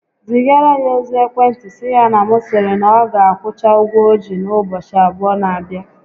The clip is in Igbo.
Zigara ya ozi ekwentị sị ya na m sịrị na ọ ga akwụcha ụgwọ o ji n'ụbọchị abụọ n'abịa